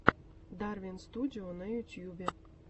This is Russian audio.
дарвин студио на ютубе